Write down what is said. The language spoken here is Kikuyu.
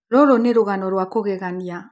Rũrũ nĩ rũgano rwa kũgegania.